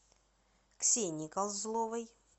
ксенией козловой